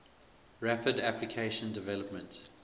rapid application development